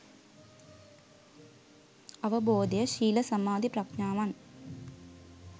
අවබෝධය ශීල, සමාධි, ප්‍රඥාවන්